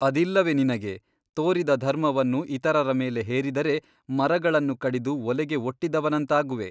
ಅದಿಲ್ಲವೆ ನಿನಗೆ ತೋರಿದ ಧರ್ಮವನ್ನು ಇತರರ ಮೇಲೆ ಹೇರಿದರೆ ಮರಗಳನ್ನು ಕಡಿದು ಒಲೆಗೆ ಒಟ್ಟಿದವನಂತಾಗುವೆ.